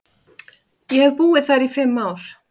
Ég hef búið þar í fimm ár.